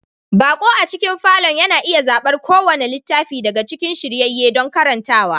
Baƙo a cikin falon yana iya zaɓar kowane littafi daga cikin shiryayye don karantawa